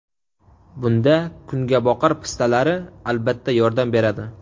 Bunda kungaboqar pistalari, albatta, yordam beradi.